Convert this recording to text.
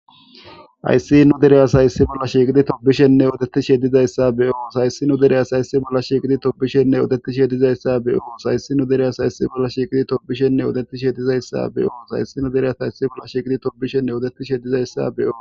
Hayssin dere asay issi bolla shiqidi thobbishinne odeththishe dizayssa be7oos; Hayssin dere asay issi bolla shiqidi thobbishinne odeththishe dizayssa be7oos; Hayssin dere asay issi bolla shiqidi thobbishinne odeththishe dizayssa be7oos;Hayssin dere asay issi bolla shiqidi thobbishinne odeththishe dizayssa be7oos.